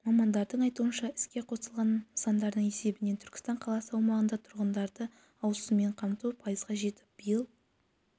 мамандардың айтуынша іске қосылған нысандардың есебінен түркістан қаласы аумағында тұрғындарды ауыз сумен қамту пайызға жетіп биыл